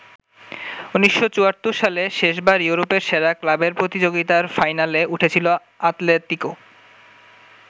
১৯৭৪ সালে শেষবার ইউরোপের সেরা ক্লাবের প্রতিযোগিতার ফাইনালে উঠেছিল আতলেতিকো।